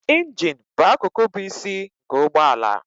Injin bụ akụkụ bụ isi nke ụgbọ ala